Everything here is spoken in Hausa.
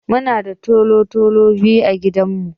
Muna da tolo-tolo biyu a gidan mu.